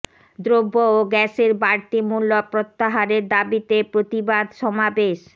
দ্রব্য ও গ্যাসের বাড়তি মূল্য প্রত্যাহারের দাবিতে প্রতিবাদ সমাবেশ